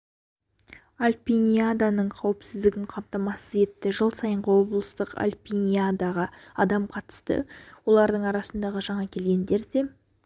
альпиниаданың қауіпсіздігін қамтамасыз етті жыл сайынғы облыстық альпиниадаға адам қатысты олардың арасында жаңа келгендер де